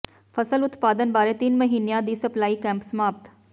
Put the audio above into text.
ਫ਼ਸਲ ਉਤਪਾਦਨ ਬਾਰੇ ਤਿੰਨ ਮਹੀਨਿਆਂ ਦਾ ਸਿਖਲਾਈ ਕੈਂਪ ਸਮਾਪਤ